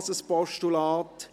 auch dies ein Postulat.